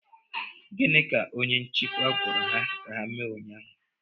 Gịnị ka onye nchịkwa gwara ha ka ha mee ụnyaahụ?